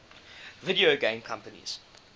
video game companies